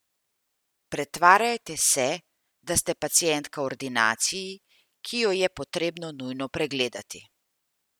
Pretvarjajte se, da ste pacientka v ordinaciji, ki jo je potrebno nujno pregledati.